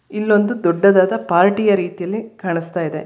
ಇಲ್ಲೊಂದು ದೊಡ್ಡದಾದ ಪಾರ್ಟೀ ಯ ರೀತಿಯಲ್ಲಿ ಕಾಣಸ್ತಾಇದೆ.